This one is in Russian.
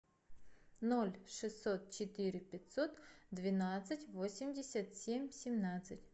ноль шестьсот четыре пятьсот двенадцать восемьдесят семь семнадцать